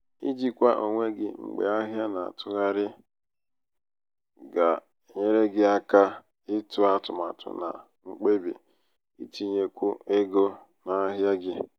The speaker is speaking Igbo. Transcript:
ijikwa onwe gị mgbe ahịa na -atụgharị ahịa na -atụgharị um ga-enyere gị aka ịtụ atụmatụ na mkpebi um itinyekwu égo n'ahịa gị.